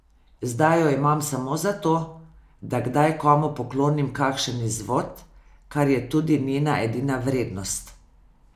Zdaj jo imam samo zato, da kdaj komu poklonim kakšen izvod, kar je tudi njena edina vrednost.